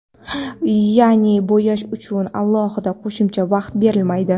Yaʼni bo‘yash uchun alohida qo‘shimcha vaqt berilmaydi.